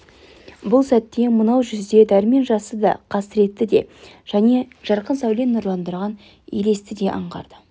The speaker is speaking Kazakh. бұл сәтте мынау жүзде дәрмен жасты да қасіретті де және жарқын сәуле нұрландырған елесті де аңғарды